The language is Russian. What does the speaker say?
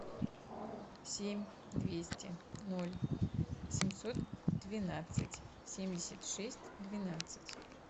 семь двести ноль семьсот двенадцать семьдесят шесть двенадцать